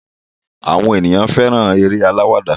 Àwọn ènìyàn fẹ́ràn eré alawada.